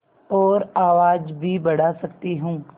और आवाज़ भी बढ़ा सकती हूँ